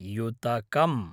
युतकम्